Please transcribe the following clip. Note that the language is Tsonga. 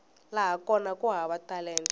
laha kona ku hava talenta